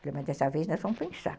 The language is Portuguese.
Falei, mas dessa vez nós vamos pensar.